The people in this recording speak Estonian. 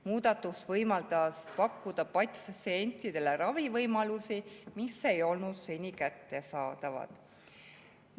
Muudatus võimaldab pakkuda patsientidele ravivõimalusi, mis ei olnud seni kättesaadavad.